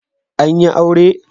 An yi aure?